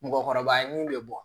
Mɔgɔkɔrɔba ye min bɛ bɔ